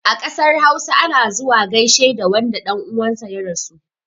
A ƙasar hausa, ana zuwa gaishe da wanda ɗan uwan sa ya rasu.